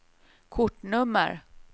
kortnummer